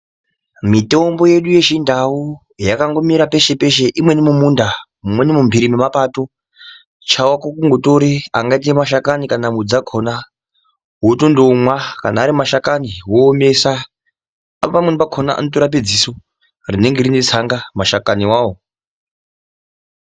Mitombo yedu yechindau yakangomera peshe peshe imweni mumunda imweni mumpiri mwepato chako kungotore angaite mashakani kana mudzi dzakhona Wotondomwa kana ari mashakani woomesa pamweni pakhona anotorape dziso rinenge rine tsanga mashakani wawo.